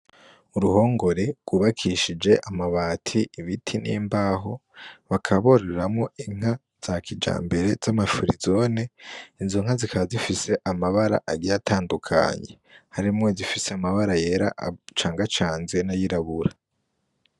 Uruhongore rwubakishije amabati ibiti n'imbaho bakaboreramo inka za kija mbere z'amafurizone inzonka zikazifise amabara agiya atandukanyi harimwo zifise amabara yera canga canze na yirabura.